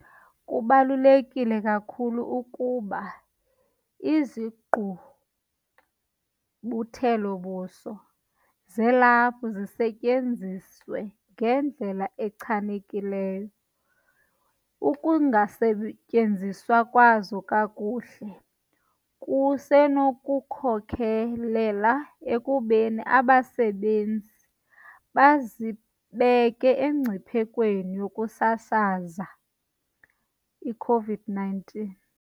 Kubaluleke kakhulu ukuba izigqubuthelo-buso zelaphu zisetyenziswe ngendlela echanekileyo. Ukungasetyenziswa kwazo kakuhle kusenokukhokelela ekubeni abasebenzisi bazibeke emngciphekweni wokusasaza i-COVID-19 .